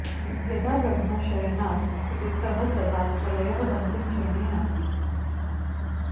यदा ब्रह्मा शयनात् उत्थितः तदा प्रलयः अन्तिमचरणे आसीत्